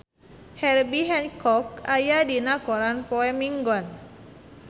Herbie Hancock aya dina koran poe Minggon